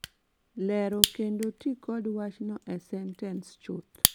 Lero kendo ti kod wachno e sentens chuth